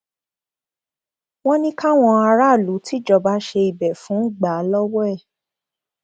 wọn ní káwọn aráàlú tìjọba ṣe ibẹ fún gbà á lọwọ ẹ